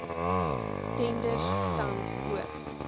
tenders tans oop